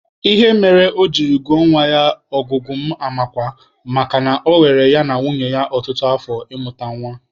Ihe mere o jiri gụọ nwa ya Ọgụguamakwa makana ọ were ya na nwunye ya ọtụtụ afọ ịmụta nwa.